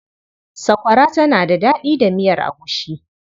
Sakwara tana da daɗi da miyar agushi.